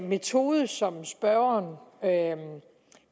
metode som spørgeren